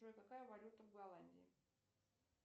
джой какая валюта в голландии